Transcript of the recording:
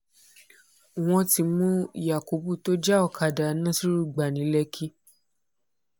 wọ́n ti mú yakubu tó já ọ̀kadà nasiru gbà ní lẹ́kì